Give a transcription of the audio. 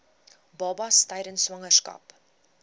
babas tydens swangerskap